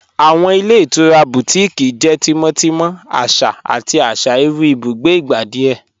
Awọn ilẹ̀ itura Bùtíkìí jẹ́ tímọ́tímọ̀, àṣà àti àṣà irú ìbùgbé ìgbà díẹ̀.